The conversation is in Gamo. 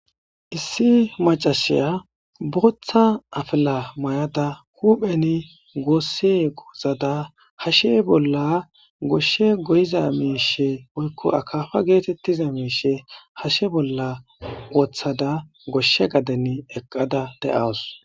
issi macashiya booththa afila mayada hupheni goossi ozada hashe bolla goshshe goyiza miishe woykko akafa geetettiza miishe hashe bolla woththada goshshe gaden eqqada de'awus